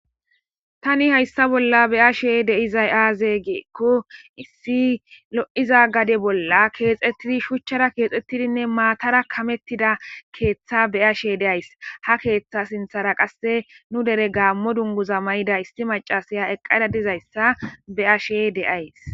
Tani hayssa bolla be ashe deizay aaze geekko issi lo7iza gade bolla keexettidi shuchchara keexxettidinne maatara kamettida keeththa be ashe deays ha keeththa sinthara qasse nu dere gaammo dunguza may7ida isti macasaya eqqada dizayssa be7ashe de'ays.